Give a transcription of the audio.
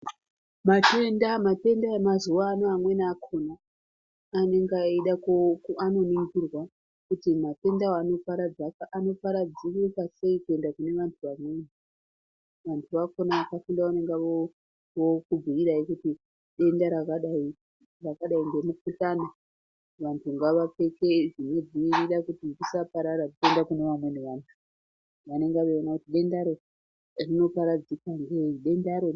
Matenda matenda emazuwa ano amweni akhona anenge eida andonongirwa, kuti matenda wo anoparadzirika sei kuenda kune vantu vamweni. Vantu vakhona ndovanenge vokubhiirai kuti denda rakadai ngemukhuhlana vantu ngavapfeke zvinodziirira kuti risaparara richienda kune vamweni vantu. Vanonga veiona kuti denda ro rinoparadzika ngei, denda ro.